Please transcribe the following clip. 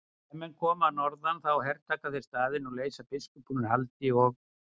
Ef menn koma að norðan þá hertaka þeir staðinn og leysa biskupinn úr haldi og.